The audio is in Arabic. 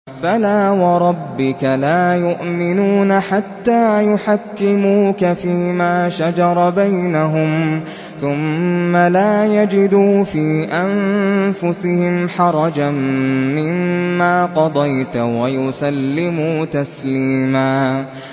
فَلَا وَرَبِّكَ لَا يُؤْمِنُونَ حَتَّىٰ يُحَكِّمُوكَ فِيمَا شَجَرَ بَيْنَهُمْ ثُمَّ لَا يَجِدُوا فِي أَنفُسِهِمْ حَرَجًا مِّمَّا قَضَيْتَ وَيُسَلِّمُوا تَسْلِيمًا